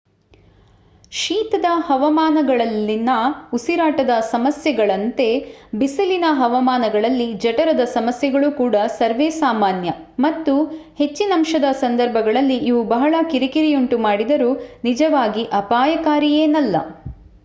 ಶೀತದ ಹವಾಮಾನಗಳಲ್ಲಿನ ಉಸಿರಾಟದ ಸಮಸ್ಯೆಗಳಂತೆ ಬಿಸಿಲಿನ ಹವಾಮಾನಗಳಲ್ಲಿ ಜಠರದ ಸಮಸ್ಯೆಗಳು ಕೂಡ ಸರ್ವೇಸಾಮಾನ್ಯ ಮತ್ತು ಹೆಚ್ಚಿನಂಶದ ಸಂದರ್ಭಗಳಲ್ಲಿ ಇವು ಬಹಳ ಕಿರಿಕಿರಿಯುಂಟು ಮಾಡಿದರೂ ನಿಜವಾಗಿ ಅಪಾಯಕಾರಿಯೇನಲ್ಲ